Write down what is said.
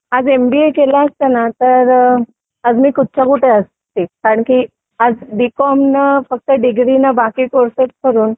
आज एमबीए केलं असतं ना तर आज मी कुठच्या कुठे असते कारण की आज बी कॉम न डिग्रीने बाकी कोर्सेस करून